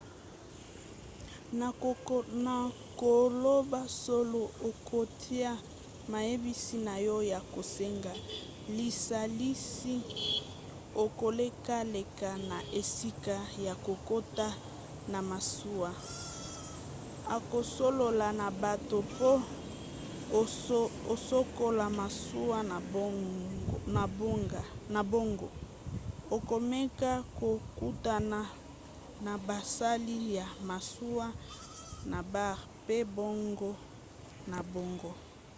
na koloba solo okotya mayebisi na yo ya kosenga lisalisi okolekaleka na esika ya kokota na masuwa okosolola na bato mpo osokola masuwa na bango okomeka kokutana na basali ya masuwa na bar mpe bongo na bongo